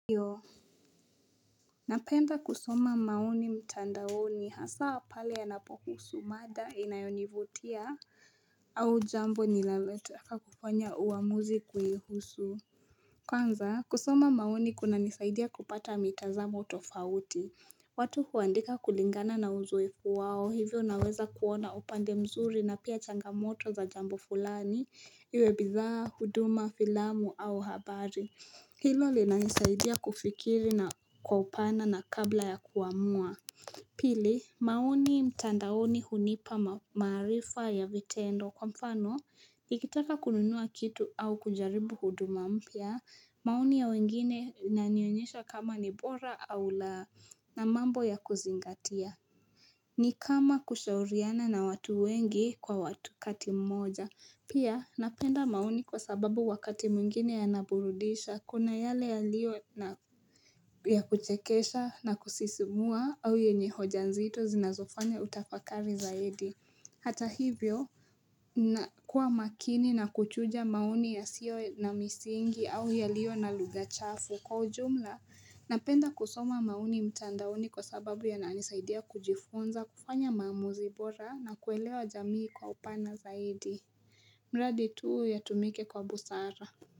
Ndio napenda kusoma maoni mtandaoni hasa pale yanapohusu mada inayonivutia au jambo ninalotaka kufanya uamuzi kuhusu. Kwanza, kusoma maoni kunanisaidia kupata mitazamo tofauti. Watu huandika kulingana na uzoefu wao hivyo unaweza kuona upande mzuri na pia changamoto za jambo fulani, iwe bidhaa, huduma, filamu au habari. Hilo linanisaidia kufikiri na kwa upana kabla ya kuamua Pili maoni mtandaoni hunipa maarifa ya vitendo kwa mfano Nikitaka kununua kitu au kujaribu huduma mpya maoni ya wengine inanionyesha kama ni bora au laa na mambo ya kuzingatia ni kama kushauriana na watu wengi kwa wakati mmoja Pia napenda maoni kwa sababu wakati mwingine yanaburudisha Kuna yale yalio yakuchekesha na kusisimua au yenye hoja nzito zinazofanya utafakari zaidi Hata hivyo kuwa makini na kuchuja maoni yasiyo na misingi au yalio na lugha chafu Kwa ujumla, napenda kusoma maoni mtandaoni kwa sababu yananisaidia kujifunza kufanya maamuzi bora na kuelewa jamii kwa upana zaidi mradi tu yatumike kwa busara.